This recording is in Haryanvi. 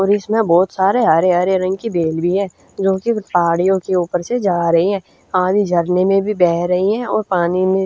और इसम्ह बहुत सारे हरे हरे रंग की बेल भी हजो कि पहाड़ियों के ऊपर से जा रही ही हं आंधी झरने म भी बह रही हं और पानी म --